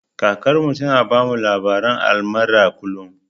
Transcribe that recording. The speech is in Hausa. Kakar mu ta na bamu labaren almara kullum